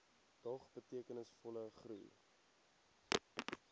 dog betekenisvolle groei